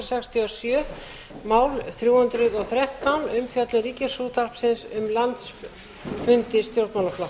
sextíu og sjö mál þrjú hundruð og þrettán umfjöllun ríkisútvarpsins um landsfundi stjórnmálaflokka